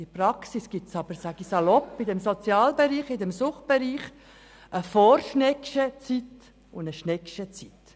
In der Praxis gibt es aber – um es salopp auszudrücken – im Sozial- und im Suchtbereich eine «Vor-Schneggsche» Zeit und eine «Schneggsche» Zeit.